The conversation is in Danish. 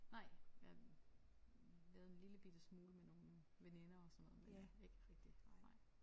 Nej jeg lavede en lille bitte smule med nogle veninder og sådan noget men ikke rigtig nej